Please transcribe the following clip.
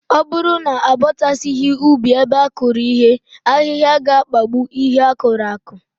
Ọ bụrụ na abọchasịghị ubi ebe a kụrụ ihe, ahịhịa ga-akpagbu ihe a kụrụ akụ